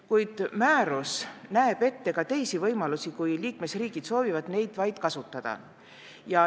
Kuid määrus näeb ette ka teisi võimalusi, kui liikmesriigid soovivad neid kasutada.